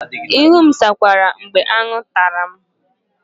Ihu m zakwara mgbe aṅụ tara m